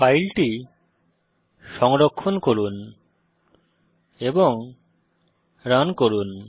ফাইলটি সংরক্ষণ করে রান করুন